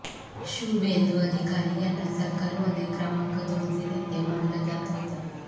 शुभेंदू अधिकारी यांना सरकारमध्ये क्रमांक दोनचे नेते मानलं जात होतं